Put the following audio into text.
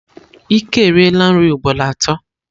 Ike eriela nri ugboro atọ.